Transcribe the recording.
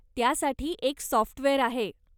त्यासाठी एक सॉफ्टवेअर आहे.